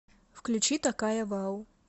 включи такая вау